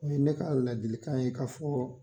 O ye ne ka ladilikan ye ka fɔ